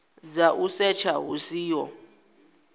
dza u setsha hu siho